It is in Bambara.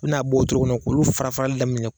U bɛ n'a bɔ togomina k'olu farafarali daminɛ.